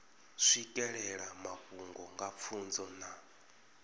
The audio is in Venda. swikelela mafhungo nga pfunzo na